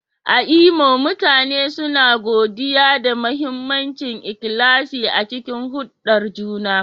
A Imo, mutane suna godiya da mahimmancin ikhlasi a cikin hulɗar juna.